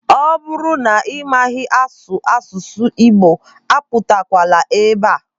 Ọ bụrụ na ị maghị asụ asụsụ Igbo abatakwala ebe a.